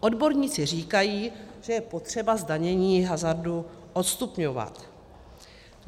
Odborníci říkají, že je potřeba zdanění hazardu odstupňovat.